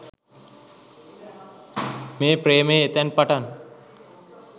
මේ ප්‍රේමය එතැන් පටන්